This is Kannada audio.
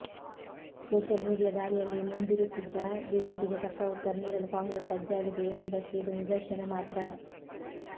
ಸೋಷಿಯಲ್ ಮೀಡಿಯಾ ದಾಳಿಯಲ್ಲಿ ಮುಂದಿರುತ್ತಿದ್ದ ಬಿಜೆಪಿಗೆ ತಕ್ಕ ಉತ್ತರ ನೀಡಲು ಕಾಂಗ್ರೆಸ್ ಸಜ್ಜಾಗಿದೆ ಎಂಬುದಕ್ಕೆ ಇದು ನಿದರ್ಶನ ಮಾತ್ರ